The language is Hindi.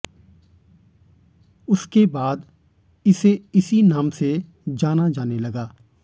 उसके बाद इसे इसी नाम से जाना जाने लगा